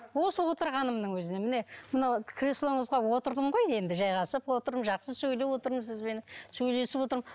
осы отырғанымның өзінен міне мынау креслоңызға отырдым ғой енді жайғасып отырмын жақсы сөйлеп отырмын сізбен сөйлесіп отырмын